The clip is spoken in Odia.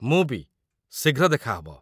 ମୁଁ ବି, ଶୀଘ୍ର ଦେଖା ହବ!